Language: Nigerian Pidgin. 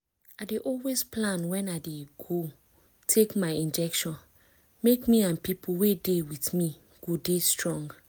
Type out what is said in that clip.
i dey always plan wen i dey go take my injection make me and pipu wey dey with me go dey strong